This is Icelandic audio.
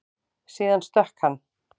Síðan stökk hann.